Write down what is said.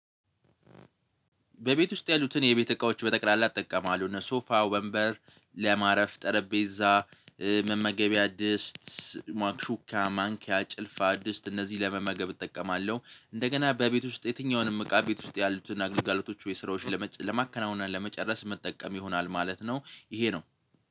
በቤት ውስጥ ያሉትን የቤት እቃዎች በጠቅላላ እጠቀማለሁ እነሱም ሶፋ ወንበር ለማረፍ ጠረጴዛ መመገቢያ ድስት ማክሹካ ማንኪያ ጭልፋ ድስት እነዚህ ለመመገብ እጠቀማለሁ። እንደገና በቤት ውስጥ የትኛውንም እቃ ቤት ውስጥ ያሉትን አግልጋሎቶቹ የስራዎችን ለመከናወን ለመጨረስ መጠቀም ይሆናል ማለት ነው ይሄ ነው።